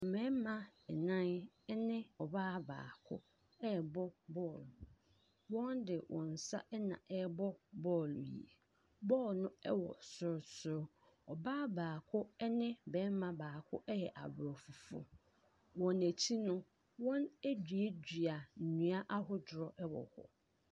Mmarima nnan ne ɔbaa baako rebɔ ball. Wɔde wɔn nsa na ɛrebɔ ball yi. Ball no wɔ sorosoro. Ɔbaa baako ne barima baako yɛ aborɔfo. Wɔn akyi no, wɔaduadua nnua ahodoɔ wɔ hɔ.